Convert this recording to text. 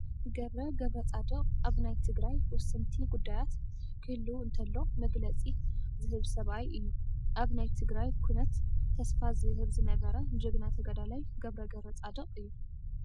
ገብረ ገብረፃዲቅ ኣብ ናይ ተግራይ ወሰንቲ ጉዳያት ክህልው እንተለው መግለፂ ዝህብ ሰብኣየ እዩ። ኣብ ናይ ትግራይ ኩነት ተስፋ ዝህብ ዝነበረ ጀግና ተጋዳላይ ገብረ ገብረፃዲቅ እዩ።